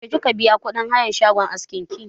Yaushe kika biya kuɗin hayan shagon askin ki?